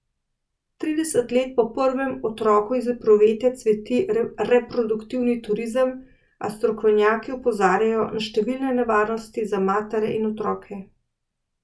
Trideset let po prvem otroku iz epruvete cveti reproduktivni turizem, a strokovnjaki opozarjajo na številne nevarnosti za matere in otroke.